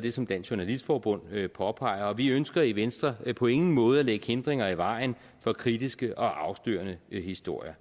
det som dansk journalistforbund påpeger og vi ønsker i venstre på ingen måde at lægge hindringer i vejen for kritiske og afslørende historier